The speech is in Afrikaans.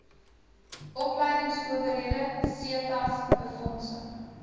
opleingsowerhede setas befondsing